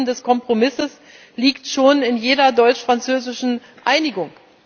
Das Wesen des Kompromisses liegt schon in jeder deutsch französischen Einigung.